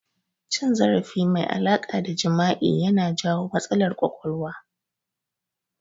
Cin zarafi mai alaƙa da jima'i ya na jawo matsalar ƙwaƙwalwa